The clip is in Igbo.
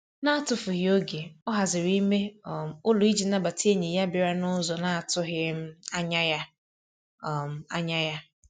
N'atufughị oge, ọ haziri ime um ụlọ ịji nabata enyi ya bịara n'ụzọ na-atụghị um anya ya. um anya ya.